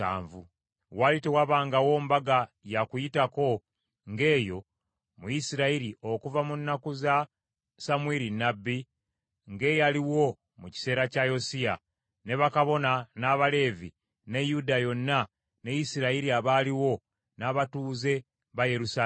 Waali tewabangawo Mbaga ya Kuyitako ng’eyo mu Isirayiri okuva mu nnaku za Samwiri nnabbi, nga eyaliwo mu kiseera kya Yosiya, ne bakabona n’Abaleevi, ne Yuda yonna ne Isirayiri abaaliwo, n’abatuuze ba Yerusaalemi.